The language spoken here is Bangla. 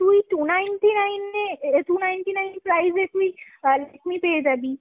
তুই two ninety-nine এ two ninety-nine price এ তুই Lakme পেয়ে যাবি।